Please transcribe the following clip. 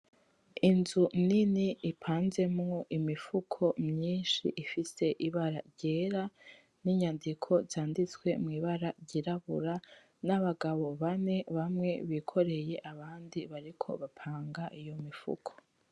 Inzu nini ipanzemwo imifuko myinshi ifise ibara ryera n'inyandiko zanditswe mw'ibara ryirabura. N'abagabo bane bamwe bikoreye, abandi bariko bapanga iyo mifuko.